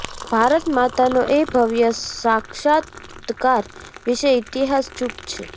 ભારતમાતાનો એ ભવ્ય સાક્ષાત્કાર વિશે ઈતિહાસ ચૂપ છે